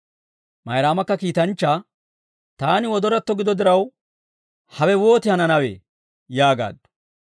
Mayraamakka kiitanchchaa, «Taani wodoratto gido diraw, hawe wooti hananawee?» yaagaaddu.